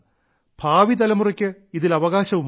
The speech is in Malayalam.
ഭാവി തലമുറയ്ക്ക് ഇതിൽ അവകാശവുമുണ്ട്